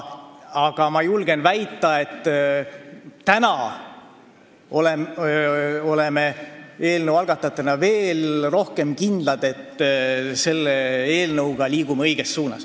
Ja ma julgen väita, et oleme eelnõu algatajatena veel rohkem kindlad, et liigume selle eelnõuga õiges suunas.